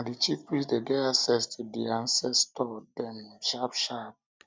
na di chief priest dey get access to di ancestor dem sharpsharp